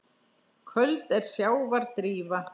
Köld er sjávar drífa.